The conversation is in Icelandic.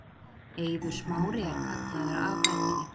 Eiður Smári er kallaður af velli